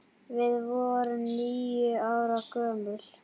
Við vorum níu ára gömul.